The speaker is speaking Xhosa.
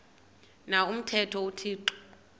na umthetho uthixo